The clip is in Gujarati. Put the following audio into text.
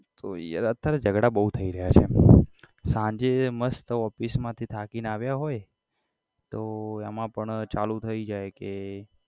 તો yaar અત્યારે જગડા બહુ થઇ રહ્યા છે સાંજે મસ્ત office માંથી થાકી ને આવ્યા હોય તો એમાં પણ ચાલુ થઇ જાય કે